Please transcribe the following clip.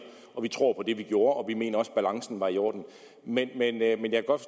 vi tror på det vi gjorde og vi mener også at balancen var i orden men men jeg kan godt